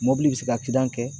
Mobili bi se ka kidan kɛ